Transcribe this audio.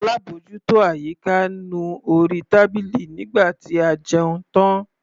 Alábòjútó àyíká nu orí tábìlì nígbà tí a jẹun tán.